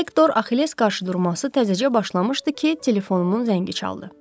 Hektor Axilles qarşıdurması təzəcə başlamışdı ki, telefonumun zəngi çaldı.